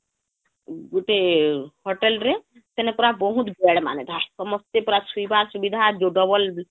ଗୁଟେ hotel ରେ ସେନ ପୁରା ବହୁତ ବେଡ଼ ମାନେ ସମସ୍ତେ ପୁରା ସୁଇବା ସୁବିଧା ଯଉ double